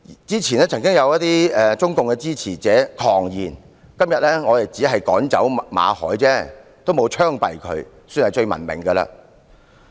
之前曾有一些中共支持者狂言，指今天只是趕走了馬凱，並沒有槍斃他，算是最文明的了。